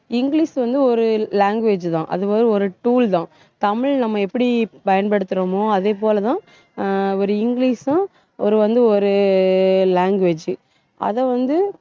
English வந்து ஒரு language தான் அது ஒரு tool தான் தமிழ் நம்ம எப்படி பயன்படுத்துறோமோ அதே போலதான், ஆஹ் ஒரு இங்கிலிஷும் ஒரு வந்து ஒரு language அதை வந்து